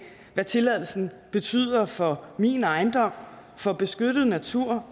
hvad tilladelsen betyder for min ejendom for beskyttet natur